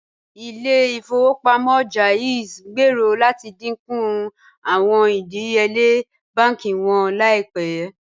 Ìlẹ̀-ifowopamọ JAIZ ngbéèrò láti díńkú awọn ìdíyèle bánkì wọn laípẹ̀.